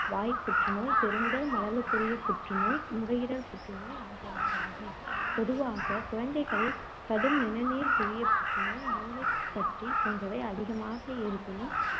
வாய்ப் புற்றுநோய், பெருங்குடல் மலலுக்குரிய புற்று நோய், நுரையீரல் புற்றுநோய் ஆகியனவாகும். பொதுவாக குழந்தைகளில் கடும் நிணநீர்க் குழியப் புற்றுநோய், மூளைக் கட்டி போன்றவை அதிகமாக இருப்பினும்,